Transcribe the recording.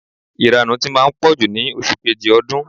Ìranù ti máa ń pọ̀jù ní oṣù kejì ọdún.